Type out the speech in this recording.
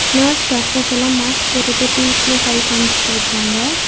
Nurse doctors எல்லா mask போட்டுட்டு பீஸ்னு கை காம்ச்சுட்ருக்காங்க.